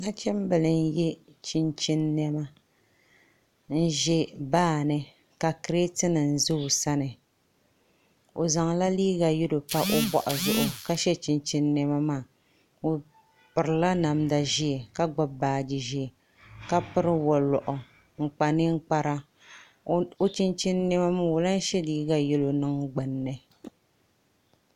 Nachimbili n yɛ chinchin niɛma n ʒɛ baani ka kirɛt nim ʒɛ o sani o zaŋla liiga yɛlo pa o boɣu zuɣu ka shɛ chinchin niɛma maa o pirila namda ʒiɛ ka gbubi baaji ʒiɛ ka piri woliɣu n kpa ninkpara o chinchin niɛma maa o lahi shɛ liiga yɛli niŋ gbunni